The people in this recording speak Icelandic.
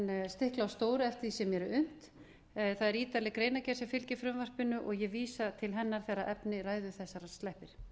stikla á stóru eftir því sem mér er unnt það er ítarleg greinargerð sem fylgir frumvarpinu og ég vísa til hennar þegar efni ræðu þessarar sleppir